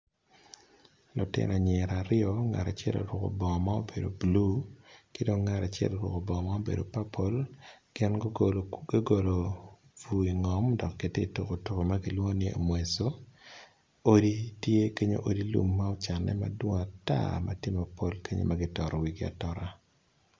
Lutino ayira aro ngat acel oruko bongo ma bulu ki dong ngat acel bongo dok gugolo ngo dok gitye ka tuko tuko ma kilwongo ni omweso ki kenyu odi lum tye mapol ma kitoto wigi atota